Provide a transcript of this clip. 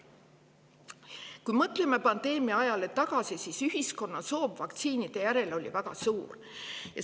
Kui mõtleme pandeemia ajale tagasi, siis ühiskonna soov vaktsiinide järele oli väga suur.